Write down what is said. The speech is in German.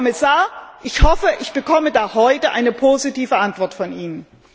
Herr Kommissar, ich hoffe, ich bekomme da heute eine positive Antwort von Ihnen.